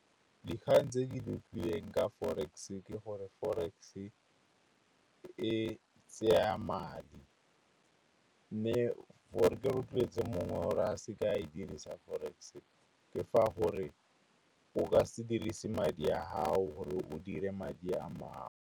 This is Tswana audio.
Dikgang tse ke di utlwileng ka forex ke gore forex e tseya madi. Mme gore ke rotloetse mongwe o re a se ka a e dirisa forex ke fa gore o ka se dirise madi a gago gore o dire madi a mangwe.